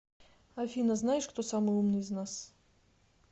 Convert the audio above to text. афина знаешь кто самый умный из нас